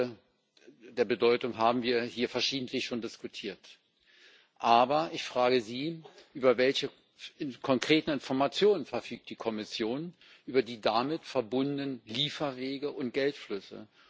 Über diese Bedeutung haben wir hier schon verschiedentlich diskutiert. Ich frage Sie Über welche konkreten Informationen verfügt die Kommission über die damit verbundenen Lieferwege und Geldflüsse?